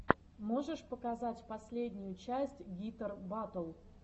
можешь показать последнюю часть гитар батл